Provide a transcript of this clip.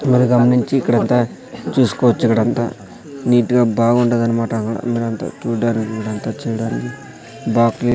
నించి ఇక్కడంతా చూస్కోవచ్చు ఇక్కడంతా నీట్ గా బావుండాధన్మాట చూడ్డానికి ఇక్కడంతా చూడ్డానికి బా క్లీన్ --